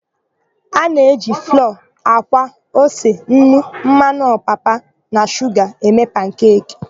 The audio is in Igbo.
A na-eji flọọ, àkwá, ose, nnu, mmanụ ọpapa na shuga eme pankeki.